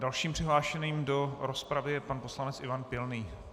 Dalším přihlášeným do rozpravy je pan poslanec Ivan Pilný.